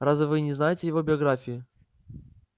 разве вы не знаете его биографии